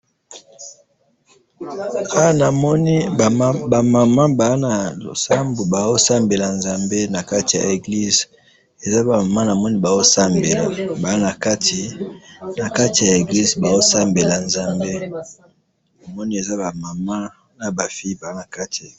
awa namoni eza mutuka, mutuka ya kitoko eza naba nzela ya mabele mutuka wana eza naba langi ya mbozinga nde namoni yango liboso na ngayi awa.